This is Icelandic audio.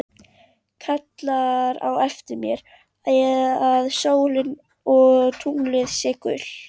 Kallar á eftir mér að sólin og tunglið séu gull.